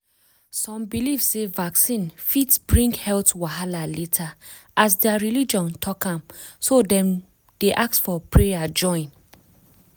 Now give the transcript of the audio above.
some believe sey vaccine fit bring health wahala later as their religion talk am so dem dey ask of prayer join.